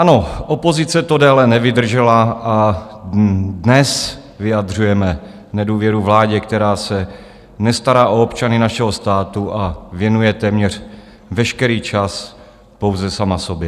Ano, opozice to déle nevydržela a dnes vyjadřujeme nedůvěru vládě, která se nestará o občany našeho státu a věnuje téměř veškerý čas pouze sama sobě.